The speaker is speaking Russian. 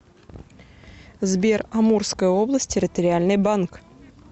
сбер амурская область территориальный банк